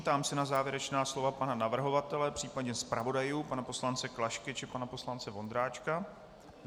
Ptám se na závěrečná slova pana navrhovatele, případně zpravodajů pana poslance Klašky či pana poslance Vondráčka.